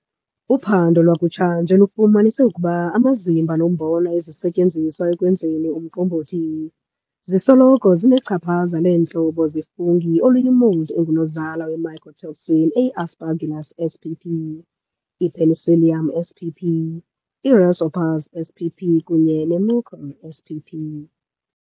Uphando lwakutsha nje lifumanise ukuba amazimba nombona zisetyenziswa ekwenzeni umqombothi, zisoloko zinechaphaza leentlobo ze-fungi oluyi-mold engunozala wemycotoxin eyi-Aspergillus" spp., "i-Penicillium" spp., i-"Rhizopus" spp. kunye ne-"Mucor" spp. "